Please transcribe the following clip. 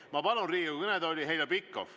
Ma palun Riigikogu kõnetooli Heljo Pikhofi.